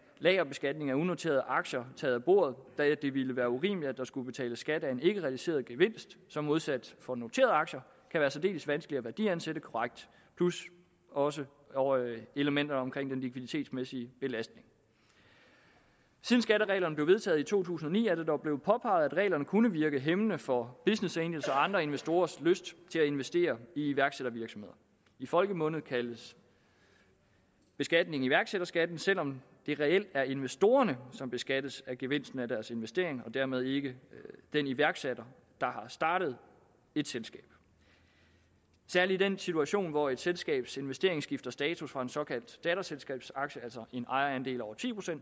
lagerbeskatning af unoterede aktier taget af bordet da det ville være urimeligt at der skulle betales skat af en ikkerealiseret gevinst som modsat for noterede aktier kan være særdeles vanskelig at værdiansætte korrekt plus også elementerne omkring den likviditetsmæssige belastning siden skattereglerne blev vedtaget i to tusind og ni er det dog blevet påpeget at reglerne kunne virke hæmmende for business angles og andre investorers lyst til at investere i iværksættervirksomheder i folkemunde kaldes beskatningen iværksætterskatten selv om det reelt er investorerne som beskattes af gevinsten af deres investering og dermed ikke den iværksætter der har startet et selskab særlig i den situation hvor et selskabs investering skifter status fra en såkaldt datterselskabsaktie altså en ejerandel over ti